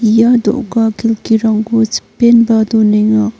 ia do·ga kelkirangko chipenba donenga.